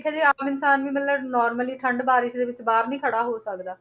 ਦੇਖਿਆ ਜਾਏ ਆਮ ਇਨਸਾਨ ਵੀ ਮਤਲਬ normally ਠੰਢ, ਬਾਰਿਸ਼ ਦੇ ਵਿੱਚ ਬਾਹਰ ਨੀ ਖੜਾ ਹੋ ਸਕਦਾ।